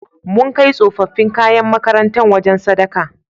Mun kai tsofaffin kayan makarantar wajen sadaka.